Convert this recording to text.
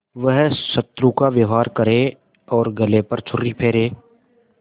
वह शत्रु का व्यवहार करे और गले पर छुरी फेरे